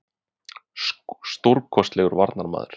Stórkostlegur varnarmaður.